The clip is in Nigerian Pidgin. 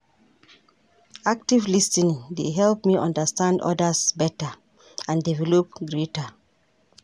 Active lis ten ing dey help me understand others beta and develop greater.